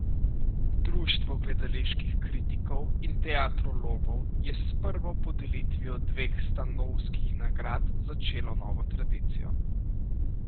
Društvo gledaliških kritikov in teatrologov je s prvo podelitvijo dveh stanovskih nagrad začelo novo tradicijo.